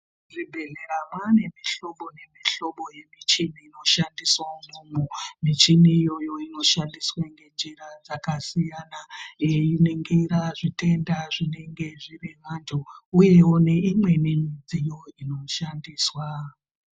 Muzvibhehlera mwane mihlobo nemihlobo yemichini inoshandiswa umwomwo. Michini iyoyo inoshandiswa ngenjira dzakasiyana yeiningira zvitenda zvinenge zvine vantu uye neimweniwo midziyo inoshandiswa.